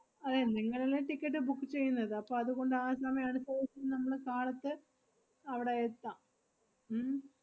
അതേ, നിങ്ങളല്ലേ ticket book ചെയ്യുന്നത്? അപ്പ അതുകൊണ്ട് ആ സമയം അടുത്തേസം നമ്മള് കാലത്തെ അവടെ എത്താം ഉം